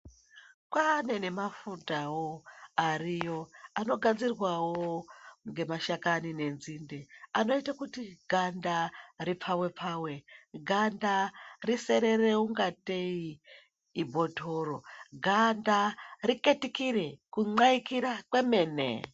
Kwaane nemafutawo ariyo anogadzirwawo ngemashakani nenzinde anoite kuti ganda ripfawepfawe, ganda riserere kunga tei imbotoro, ganda riketikire, kumwaikira kwemene.